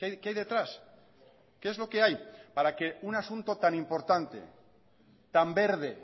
que hay detrás qué es lo que hay para que un asunto tan importante tan verde